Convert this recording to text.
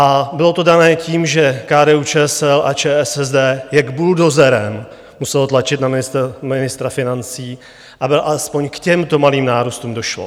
A bylo to dané tím, že KDU-ČSL a ČSSD jak buldozerem muselo tlačit na ministra financí, aby alespoň k těmto malým nárůstům došlo.